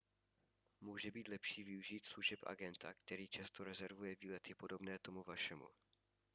může být lepší využít služeb agenta který často rezervuje výlety podobné tomu vašemu